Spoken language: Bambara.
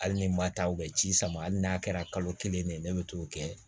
Hali ni ma taa u bɛ ci sama hali n'a kɛra kalo kelen de ye ne bɛ t'o kɛ